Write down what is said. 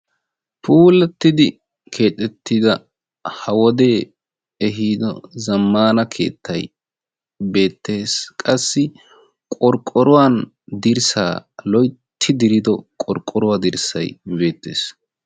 Puulattidi keexettida ha wodee ehiido zammaana keettay beettees. Qassi qorqqoruwan dirssaa loytti dirido qorqqoruwa dirssay beettees.